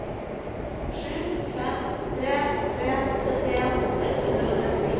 sju fem tre tre syttien seks hundre og trettini